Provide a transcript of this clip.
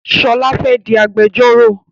Ṣọlá fẹ́ di agbẹjọ́rò.